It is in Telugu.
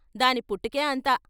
"దాని పుటకే అంత.